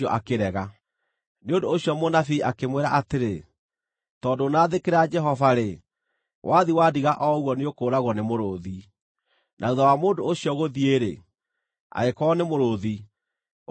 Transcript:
Nĩ ũndũ ũcio mũnabii akĩmwĩra atĩrĩ, “Tondũ ndũnathĩkĩra Jehova-rĩ, wathiĩ wandiga o ũguo nĩũkũũragwo nĩ mũrũũthi.” Na thuutha wa mũndũ ũcio gũthiĩ-rĩ, agĩkorwo nĩ mũrũũthi, ũkĩmũũraga.